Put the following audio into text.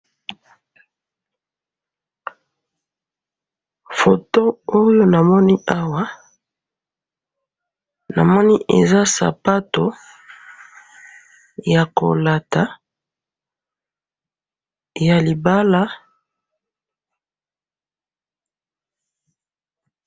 foto oyo namoni awa, namoni eza sapato ya kolata ya libala